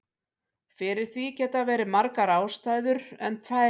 Fyrir því geta verið margar ástæður en tvær helstar.